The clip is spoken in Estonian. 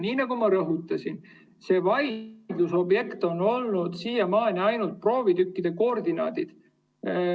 Nii nagu ma rõhutasin, vaidluse objekt on olnud siiamaani ainult proovitükkide koordinaadid.